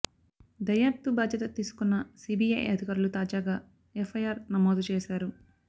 దర్యాప్తు బాధ్యత తీసుకున్న సీబీఐ అధికారులు తాజాగా ఎఫ్ఐఆర్ నమోదు చేశారు